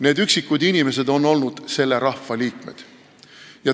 Need üksikud inimesed on olnud selle rahva liikmed.